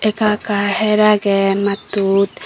ekka ekka her agey maattut.